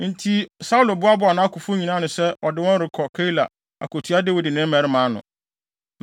Enti Saulo boaboaa nʼakofo nyinaa ano sɛ ɔde wɔn rekɔ Keila akotua Dawid ne ne mmarima ano.